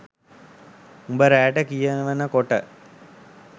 උඹ රෑට කියවනකොට